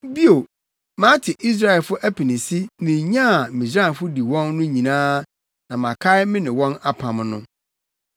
Bio, mate Israelfo apinisi ne nya a Misraimfo di wɔn no nyinaa na makae me ne wɔn apam no.